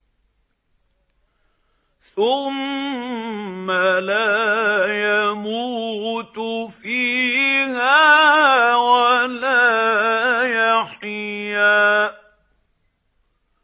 ثُمَّ لَا يَمُوتُ فِيهَا وَلَا يَحْيَىٰ